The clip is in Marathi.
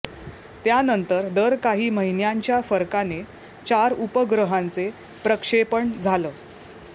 त्यानंतर दर काही महिन्यांच्या फरकाने चार उपग्रहांचे प्रक्षेपण झालं